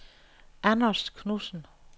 Anders Knudsen